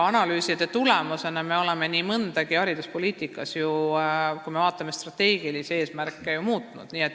Analüüside tulemusena me oleme hariduspoliitikas ju nii mõndagi muutnud, kui me vaatame strateegilisi eesmärke.